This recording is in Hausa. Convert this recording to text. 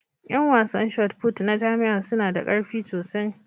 Yan wasan Shotput na jami'a suna da ƙarfi sosai